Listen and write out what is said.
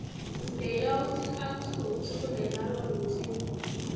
Istee yautik ak tukuk tukul eng arorutienyu.